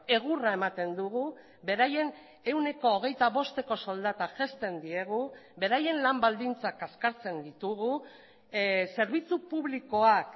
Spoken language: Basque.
egurra ematen dugu beraien ehuneko hogeita bosteko soldata jaisten diegu beraien lan baldintzak kaskartzen ditugu zerbitzu publikoak